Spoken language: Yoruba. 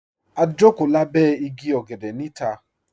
Ā jọkò làbẹ̀ ìgí ọ̀gẹ̀dẹ̀ ni ìtà.